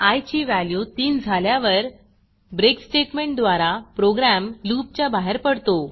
I ची value 3झाल्यावर break स्टेटमेंटद्वारा प्रोग्रॅम loopलूप च्या बाहेर पडतो